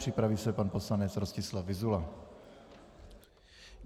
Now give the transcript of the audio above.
Připraví se pan poslanec Rostislav Vyzula.